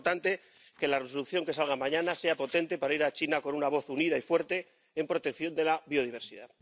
Es muy importante que la Resolución que salga mañana sea potente para ir a China con una voz unida y fuerte en protección de la biodiversidad.